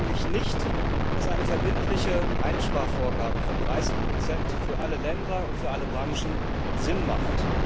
Ich glaube nämlich nicht, dass eine verbindliche Einsparvorgabe von 30 für alle Länder und für alle Branchen Sinn macht.